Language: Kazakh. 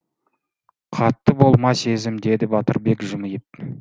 қатты болма сезім деді батырбек жымиып